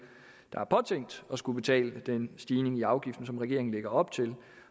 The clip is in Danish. der er påtænkt at skulle betale den stigning i afgiften som regeringen lægger op til